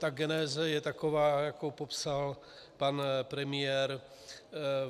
Ta geneze je taková, jakou popsal pan premiér.